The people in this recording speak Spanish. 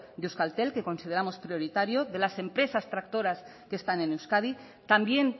de euskaltel que consideramos prioritario de las empresas tractoras que están en euskadi también